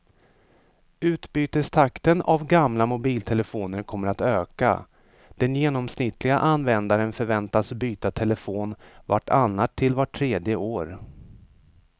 Utbytestakten av gamla mobiltelefoner kommer att öka, den genomsnittliga användaren förväntas byta telefon vart annat till vart tredje år.